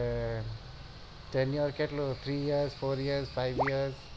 timer કેટલો three year four year five year